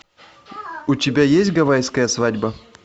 у тебя есть гавайская свадьба